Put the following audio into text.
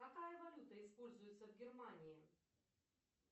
какая валюта используется в германии